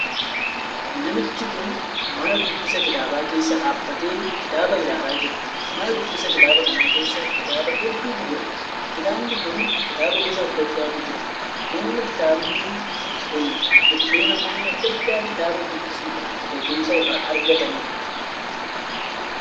Namichi kun mana dubbisa kitaabaa keessa dhaabbatee kitaaba ilaalaa jira. Mana dubbisa kitaaba kana keessa kitaaba hedduutu jira. Kitaabni kun kitaaba gosa addaa addaatu jira. Manni kitaabni kun iddoo namoonni addaa addaa kitaaba dubbisuudhaan beekumsa irraa argataniidha.